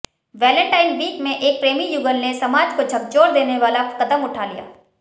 Valentine week में एक प्रेमी युगल ने समाज को झकझोर देने वाला कदम उठा लिया